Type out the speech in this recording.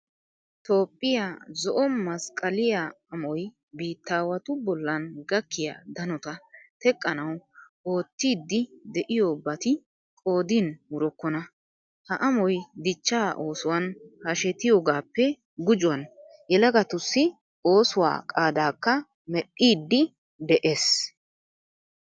Toophphiya zo"o masqqaliya amoy biittaawatu bollan gakkiya danota teqqanawu oottiiddi de'iyobati qoodin wurokkona. Ha amoy dichchaa oosuwan hashetiyogaappe gujuwan yelagatussi oosuwa qaadaakka medhdhiiddi de'ees.